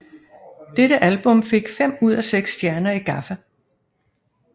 Dette album fik fem ud af seks stjerner i GAFFA